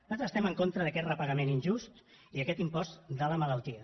nosaltres estem en contra d’aquest repagament injust i d’aquest impost de la malaltia